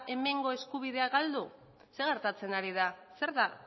hemengo eskubidea galdu zer gertatzen ari da zer da